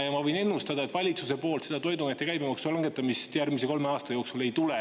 Ma võin ennustada, et valitsuse poolt toiduainete käibemaksu langetamist järgmise kolme aasta jooksul ei tule.